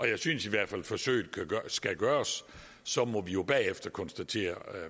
jeg synes i hvert fald at forsøget skal gøres så må vi jo bagefter konstatere det